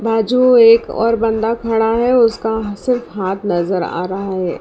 बाजू एक और बंदा खड़ा है उसका सिर्फ हाथ नजर आ रहा है।